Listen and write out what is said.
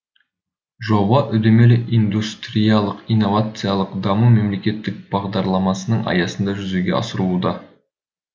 жоба үдемелі индустриялық инновациялық даму мемлекеттік бағдарламасының аясында жүзеге асырылуда